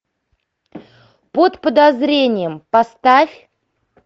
под подозрением поставь